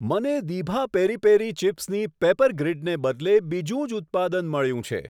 મને દીભા peri peri ચિપ્સની પેપરગ્રિડને બદલે બીજું જ ઉત્પાદન મળ્યું છે.